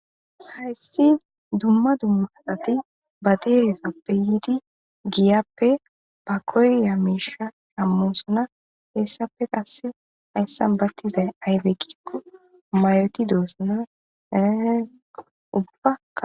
Hayissi dumma dumma asati baa dizassoppe yidi giyappe baa koyiya mishsha shamossonna hessappe qase hayissanni paccidayi ayibbe gikko mayoti dosonna ubbakka.